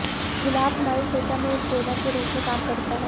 गुलाब हमारी त्वचा में एक टोनर के रूप में काम करता है